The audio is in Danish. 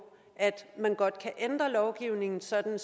at man godt kan ændre lovgivningen sådan at